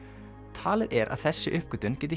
talið er að þessi uppgötvun geti